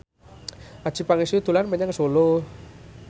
Adjie Pangestu dolan menyang Solo